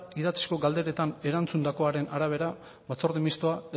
idatzizko galderetan erantzundakoen arabera batzorde mistoa